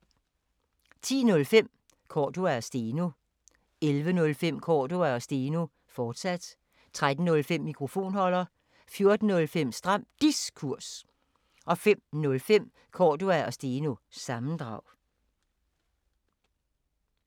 10:05: Cordua & Steno 11:05: Cordua & Steno, fortsat 13:05: Mikrofonholder 14:05: Stram Diskurs 05:05: Cordua & Steno – sammendrag